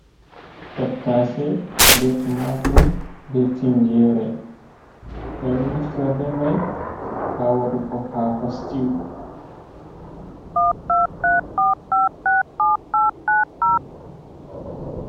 Tattase be tumatur be tinngere ɓeɗon naftira be mai ha waɗugo hako sitiwu.